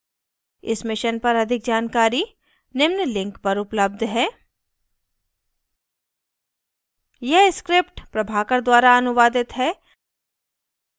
इस mission पर अधिक जानकारी निम्न लिंक पर उपलब्ध है